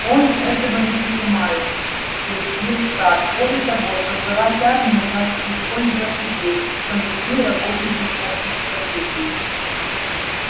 он этого не понимает съязвил сатт более того создавать армию значит использовать людей причём людей работающих над энциклопедией